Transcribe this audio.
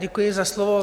Děkuji za slovo.